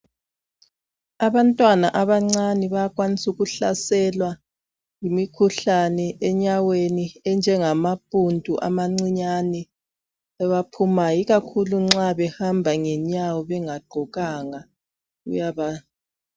Abantwana abancane bayakwanisa ukuhlaselwa yimikhuhlane enyaweni, enje ngamaphundu amancinyane abaphumayo. Ikakhulu nxa behamba ngenyawo bengagqokanga kuyasahlasela.